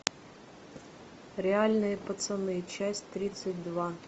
реальные пацаны часть тридцать два